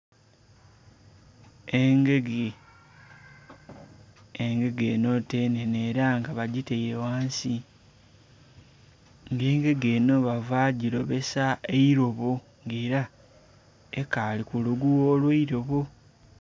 Engege, engege eno nga nhenhe era nga bagitaire ghansi nga engege eno bava gilobesa eilobo nga era ekali ku kukagugha akeilobo